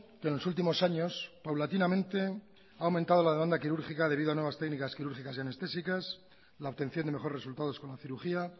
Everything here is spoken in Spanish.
que en los últimos años paulatinamente ha aumentado la demanda quirúrgica debido a nuevas técnicas quirúrgicas y anestésicas la obtención de mejores resultados con la cirugía